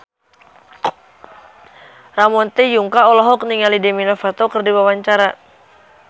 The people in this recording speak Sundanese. Ramon T. Yungka olohok ningali Demi Lovato keur diwawancara